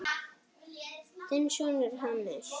Þinn sonur, Hannes.